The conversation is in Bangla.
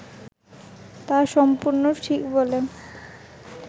তা সম্পূর্ণ ঠিক বলে